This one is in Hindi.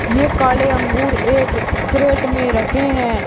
ये काले अंगूर एक करेट में रखे हैं।